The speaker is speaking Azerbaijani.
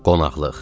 Qonaqlıq.